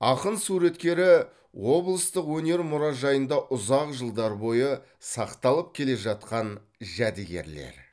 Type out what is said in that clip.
ақын суреттері облыстық өнер мұражайында ұзақ жылдар бойы сақталып келе жатқан жәдігерлер